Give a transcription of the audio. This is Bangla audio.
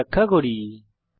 কোড ব্যাখ্যা করি